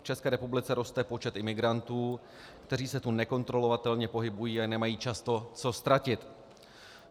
V České republice roste počet imigrantů, kteří se tu nekontrolovatelně pohybují a nemají často co ztratit.